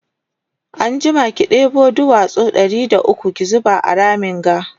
anjima ki ɗebo duwatsu Ɗari da ukwu ki zuba a Ramin ga